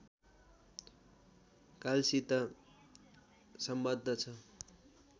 कालसित सम्बद्ध छ